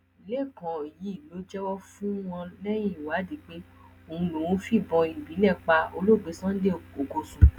lẹkàn yìí ló jẹwọ fún wọn lẹyìn ìwádìí pé òun lòún fìbọn ìbílẹ pa olóògbé sunday ọkọsùn